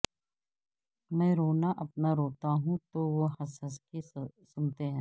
میں رونا اپنا روتا ہوں تو وہ ہنس ہنس کے سنتے ہیں